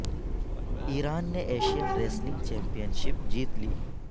ایران نے Asian wrestling championship جیت لی